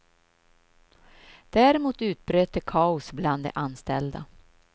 Däremot utbröt det kaos bland de anställda.